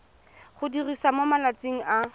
go diriwa mo malatsing a